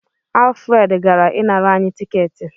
Alfred gara ịnara anyị tiketi.